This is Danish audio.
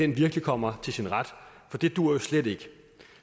virkelig kommer til sin ret for det duer jo slet ikke